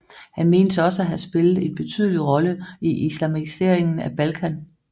Han menes også at have spillet en betydelig rolle i islamiseringen af Balkan